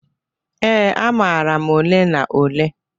Ee, amara m ole na ole.